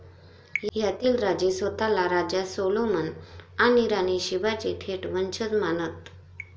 यातील राजे स्वतःला राजा सोलोमन आणि राणी शीबाचे थेट वंशज मानत.